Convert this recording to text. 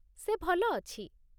ସେ ଭଲ ଅଛି।